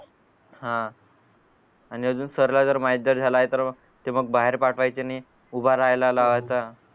हा आणि अजून सर ला जर माहित जरी झालाय तर की मंग बाहेर पाठवायचे नाई